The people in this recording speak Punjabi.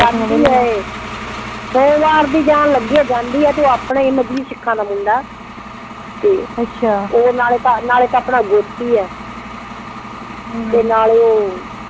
ਜਾਂਦੀ ਆਏ ਸੋਮਵਾਰ ਦੀ ਜਾਣ ਲੱਗੀ ਆ ਜਾਂਦੀ ਆ ਤੇ ਓ ਆਪਣਾ ਹੀ ਮਜਬੀ ਸਿੱਖਾ ਦਾ ਮੁੰਡਾ ਅੱਛਾ ਤੇ ਓ ਨਾਲੇ ਤਾਂ ਨਾਲੇ ਤਾਂ ਆਪਣਾ ਗੋਤੀ ਆ ਤੇ ਨਾਲੇ ਓ